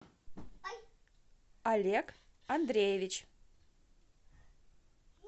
олег андреевич